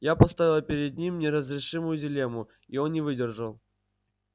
я поставила перед ним неразрешимую дилемму и он не выдержал